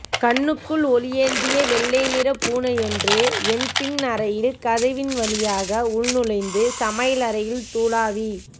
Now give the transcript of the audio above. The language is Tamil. கண்ணுக்குள் ஒளியேந்திய வெள்ளைநிற பூனையொன்று என் பின் அறையின் கதவின் வழியாக உள்நுழைந்து சமையலறையில் துழாவி